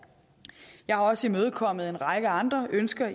jeg har også imødekommet en række andre ønsker